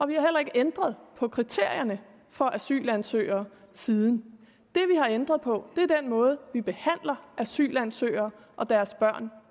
vi har heller ikke ændret på kriterierne for asylansøgere siden det vi har ændret på er den måde vi behandler asylansøgere og deres børn